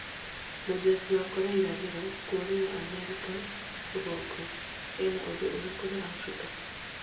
Mũjeshi wa Kolea irathĩro kũrĩĩra Amerika Rũgũrũ. Ena-ũndũ ũrĩkũ na Afirika ?